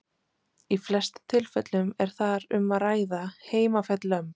Í flestum tilfellum er þar um að ræða heimafædd lömb.